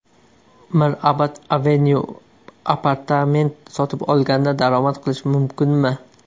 Mirabad Avenue: Apartament sotib olganda daromad qilish mumkinmi?.